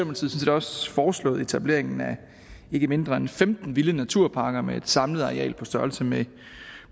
også foreslået etablering af ikke mindre end femten vilde naturparker med et samlet areal på størrelse med